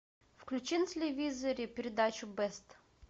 включи на телевизоре передачу бест